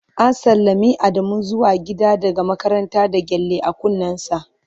​​An sallami Adamu zuwa gida daga makaranta da gyale a kunnensa.